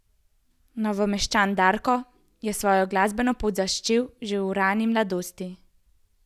Novomeščan Darko je svojo glasbeno pot začel že v rani mladosti.